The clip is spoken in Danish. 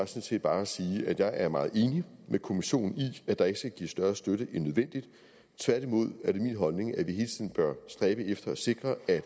set bare at sige at jeg er meget enig med kommissionen i at der ikke skal gives større støtte end nødvendigt tværtimod er det min holdning at vi hele tiden bør stræbe efter at sikre at